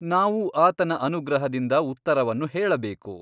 ನಾವೂ ಆತನ ಅನುಗ್ರಹದಿಂದ ಉತ್ತರವನ್ನು ಹೇಳಬೇಕು.